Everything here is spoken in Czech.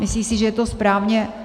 Myslí si, že je to správně.